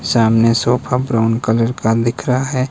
सामने sofa brown colour का दिख रहा है।